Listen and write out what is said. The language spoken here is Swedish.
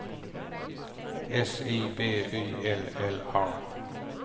S I B Y L L A